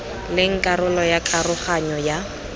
leng karolo ya karoganyo ya